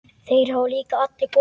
Þeir hafa líka allir komið.